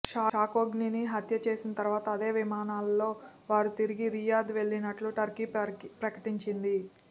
ఖషోగ్గీని హత్య చేసిన తర్వాత అదే విమానాల్లో వారు తిరిగి రియాద్ వెళ్లినట్లు టర్కీ ప్రకటించింది